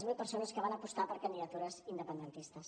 zero persones que van apostar per candidatures independentistes